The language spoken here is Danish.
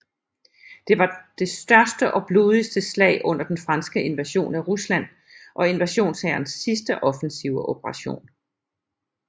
Det var det største og blodigste slag under den franske invasion af Rusland og invasionshærens sidste offensive operation